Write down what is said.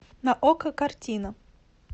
на окко картина